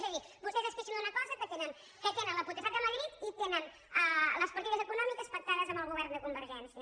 és a dir vostès es queixen d’una cosa que tenen la potestat a madrid i tenen les parti·des econòmiques pactades amb el govern de conver·gència